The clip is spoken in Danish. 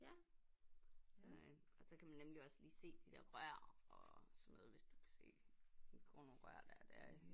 Ja så øh og så kan man nemlig også lige se de der rør og sådan noget hvis du kan se går nogle rør der og der